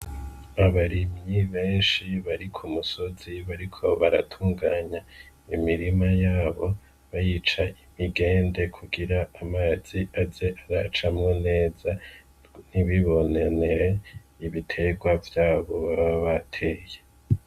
Abarimyi benshi bari ku musozi bari ko baratunganya imirima yabo bayica imigende kugira amazi aze aracamwo neza nibibonanewe ibiterwa vyabo bababateye.